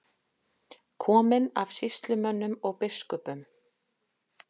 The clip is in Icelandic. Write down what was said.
Kominn af sýslumönnum og biskupum